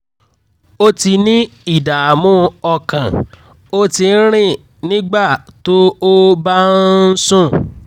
o ti ní ìdààmú ọkàn o ti ń rìn nígbà tó o bá ń sùn